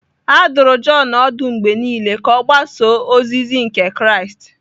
A dụrụ Jọn ọdụ mgbe niile ka ọ gbasoo ozizi Ndị Kraịst.